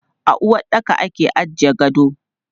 A uwaɗɗaka ake ajiye gado.